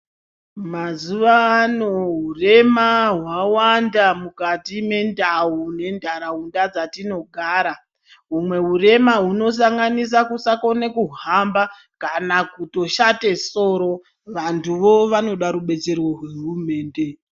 Mazuva ano hurema hwavanda mukati mendau nentaraunda dzetinogara. Humwe hurema hunosanganisa kusakone kuhamba kana kutoshate soro. Vantuvo vanoda rubetsero rwehurumende.